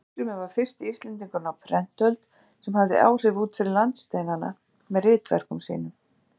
Arngrímur var fyrsti Íslendingurinn á prentöld sem hafði áhrif út fyrir landsteinanna með ritverkum sínum.